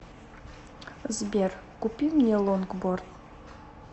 сбер купи мне лонгборд